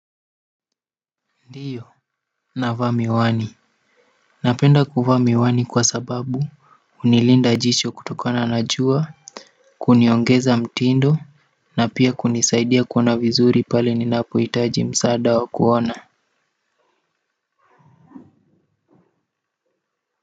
Ndiyo, navaa miwani napenda kuvaa miwani kwa sababu hunilinda jicho kutokana na jua kuniongeza mtindo na pia kunisaidia kuona vizuri pale ninapohitaji msaada wa kuona.